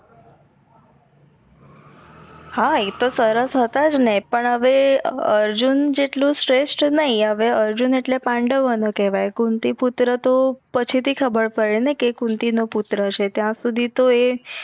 હા એ તો સરસ હતા જ નેજ પણ હવે અર્જુન જેટલું શ્રેસ્ટ નઈ આવે અર્જુન આટલે પાંડવો નો કહવાઇ કુંતી પુત્ર તો પછી થી ખબર પડી ને કે કુંતી નો પુત્ર છે ત્યાં સુધી તો એ